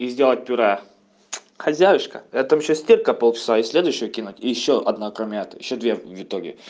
и сделать пюре хозяюшка я там сейчас стрирка пол часа и следующую кинуть ещё одна кроме этого ещё две итоге